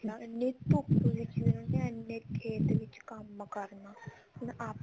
ਇੰਨੀ ਧੁੱਪ ਵਿੱਚ ਵੀ ਉਹਨਾ ਨੇ ਇੰਨੇ ਖੇਤ ਵਿੱਚ ਕੰਮ ਕਰਨਾ ਹਨਾ ਆਪਾਂ